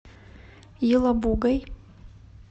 елабугой